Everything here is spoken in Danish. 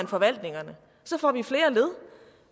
forvaltningerne så får vi flere led